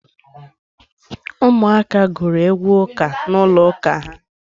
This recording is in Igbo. Ụmụ aka gụrụ egwu ụka n'ụlọ ụka ha.